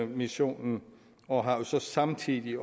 missionen og har samtidig